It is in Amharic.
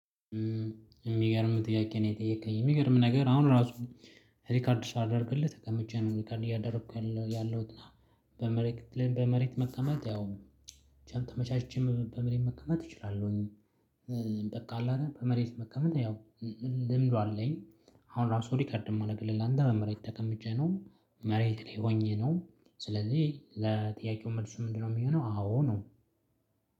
የምገርም ጥያቄ ነው የጠየከኝ የምገርም ነገር አሁን ራሱ ሪከርድ ሳደርግልህት ተቀምጬ ነው ሪከርድ እያደረኩ ያለሁትና በመሬት ሁለ በመሬት መቀመጥ ያውም ተመቻችቼ በመሬት መቀመጥ እችላለሁኝ እንጠቃለን በመሬት መከመት ያው ልምዱ አለኝ አሁን ራሱ ሪከርድ የማደርግልህ አንተ በመሬት ተቀምጬ ነው መሬት ላይ ሆኜ ነው ስለዚህ ለጥያቄው መልሱ ምንድነው የሚሆነው? አዎ ነው።